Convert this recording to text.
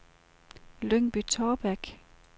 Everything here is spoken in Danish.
Lyngby-Taarbæk